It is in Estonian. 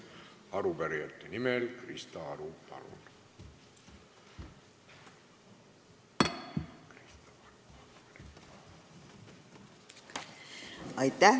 Arupärijate nimel Krista Aru, palun!